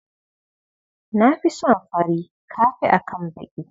Na fi son fari ka fi akan baki.